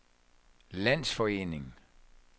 landsforening